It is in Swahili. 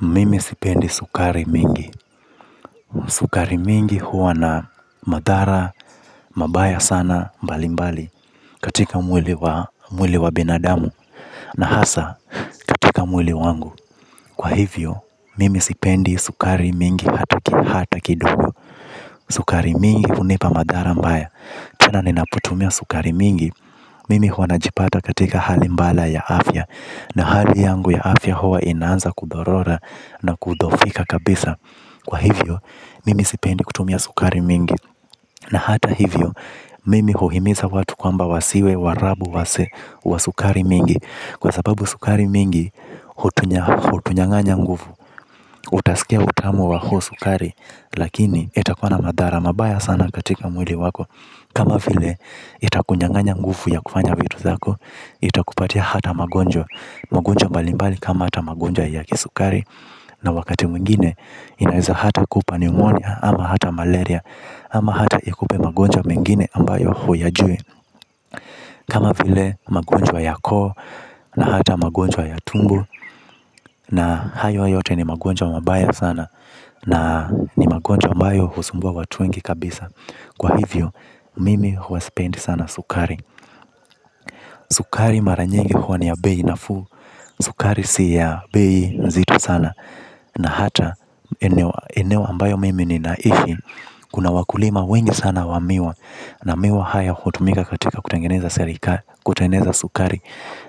Mimi sipendi sukari mingi. Sukari mingi huwa na madhara mabaya sana mbali mbali katika mwili wa binadamu na hasa katika mwili wangu. Kwa hivyo, mimi sipendi sukari mingi hata kidogo. Sukari mingi hunipa madhara mbaya. Tena ninapotumia sukari mingi, mimi huwa najipata katika hali mbaya ya afya. Na hali yangu ya afya huwa inanza kudhorora na kudhofika kabisa. Kwa hivyo, mimi sipendi kutumia sukari mingi. Na hata hivyo, mimi huhimiza watu kwamba wasiwe warabu wa sukari mingi. Kwa sababu sukari mingi, hutunyang'anya nguvu. Utasikia utamu wa huo sukari, lakini itakuwa na madhara mabaya sana katika mwili wako. Kama vile itakunyang'anya nguvu ya kufanya vitu zako. Itakupatia hata magonjwa. Magonjwa mbalimbali kama hata magonjwa ya kisukari. Na wakati mwingine inaweza hata kupa ni umonia ama hata malaria. Ama hata ikupe magonjwa mengine ambayo huyajui. Kama vile magonjwa ya koo na hata magonjwa ya tumbo. Na hayo yote ni magonjwa mabaya sana. Na ni magonjwa ambayo husumbua watu wengi kabisa. Kwa hivyo, mimi huwa sipendi sana sukari. Sukari mara nyingi huwa ni ya bei nafuu. Sukari si ya bei nzito sana. Na hata, eneo ambayo mimi ninaishi. Kuna wakulima wengi sana wa miwa. Na miwa haya hutumika katika kutengeneza sukari.